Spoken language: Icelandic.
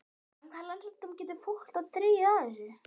En hvaða lærdóma getur fólk þá dregið af þessu?